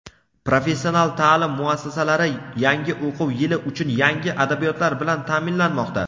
Professional ta’lim muassasalari yangi o‘quv yili uchun yangi adabiyotlar bilan ta’minlanmoqda.